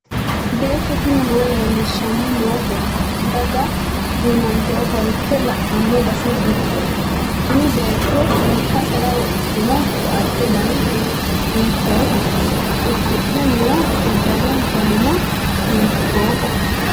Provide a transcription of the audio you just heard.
beetto tini maa leellishshanni noote daga duunante ofolte la'anno base giddo? tini beetto lekkasera wodhitino koatte dani hiittoote? uddidhe noo uddano danino hiittooho?